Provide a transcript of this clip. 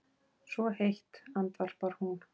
Svo heitt, andvarpar hún.